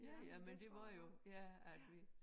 Ja ja men det var jo ja at vi